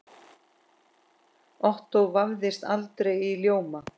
Ottó vafðist aldrei í ljóma.